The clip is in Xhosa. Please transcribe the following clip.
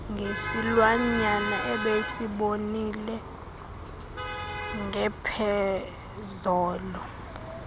ngesilwanyana abesibonile ngepheezolo